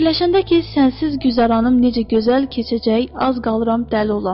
Fikirləşəndə ki sənsiz güzaranım necə gözəl keçəcək, az qalıram dəli olam.